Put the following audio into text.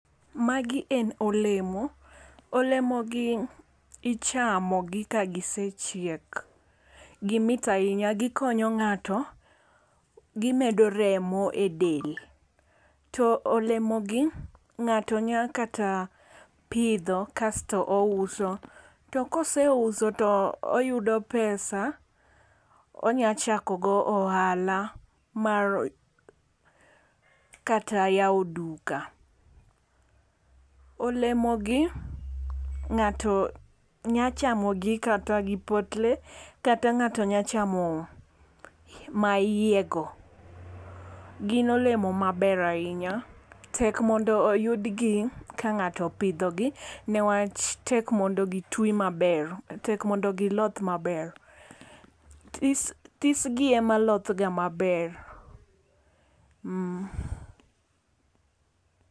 Magi en olemo olemo gi ichamo gi ka gisechiek. Gimit ahinya gikonyo ng'ato, gimedo remo e del. To olemo gi ng'ato nya kata pidho kasto ouso to koseuso toyudo pesa onya chako go ohala mar mar kata yawo duka . Olemo gi ng'ato nya chamo gi kata gi potle kata ng'ato nya chamo ma iye go. Gin olemo maber ahinya. Tek mondo oyud gi ka ng'ato opidho gi niwach tek mondi gitwi maber tek mondo giloth maber. This this gi emaloth ga maber